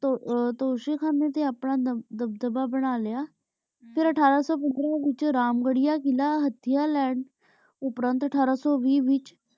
ਤੋਸ਼ੀ ਖਾਨੇ ਤੇ ਆਪਣਾ ਦਬਦਬਾ ਬਣਾ ਲਿਆ ਫੇਰ ਅਠਾਰਾਂ ਸੂ ਪੰਦਰਾਂ ਵਿਚ ਰਾਮ ਘਰਿਯਾ ਕਿਲਾ ਹਠਯ ਲੈਣ ਉਪ੍ਰੇੰਟ ਅਠਾਰਾਂ ਸੂ ਵੀ ਵਿਚ